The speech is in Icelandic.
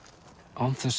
án þess